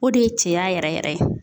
O de ye cɛya yɛrɛ yɛrɛ ye.